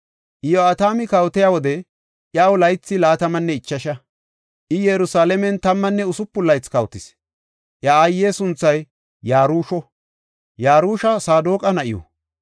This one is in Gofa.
Iyo7atami kawotiya wode iyaw laythi laatamanne ichasha; I Yerusalaamen tammanne usupun laythi kawotis. Iya aaye sunthay Yarusho; Yarusha Saadoqa na7iw.